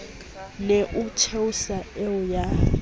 ne o theosa eo ya